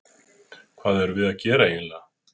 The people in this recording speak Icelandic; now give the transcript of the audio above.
Hvað erum við að gera eiginlega?